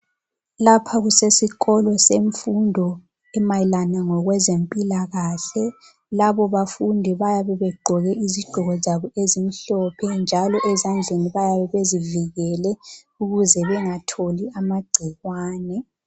Lapha kusesikolo semfundo emayelana ngokwezempilakahle. Labo bafundi bayabe begqoke izigqoko zabo ezimhlophe njalo ezandleni bayabe bezivikele ukuze bengatholi amagcikwane.